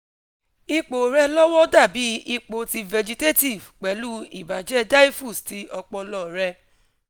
ipo rẹ lọ́wọ́ dàbí ipo ti vegetative pẹ̀lú ibajẹ́ diffuse ti ọpọlọ rẹ